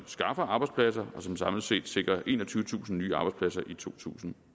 skaffer arbejdspladser og som samlet set sikrer enogtyvetusind nye arbejdspladser i totusinde